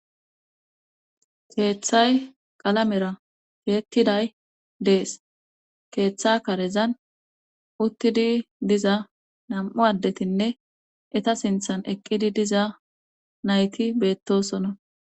keeththay qalamera teettiday dees keeththa karezan uttidi diza nam7u addetinne eta sinthan eqqidi diza nayti beettosona.